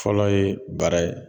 Fɔlɔ ye bara ye